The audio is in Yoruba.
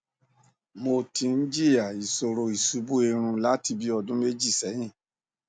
mo ti ń jìyà ìṣòro ìṣubú irun láti bí ọdún méjì sẹyìn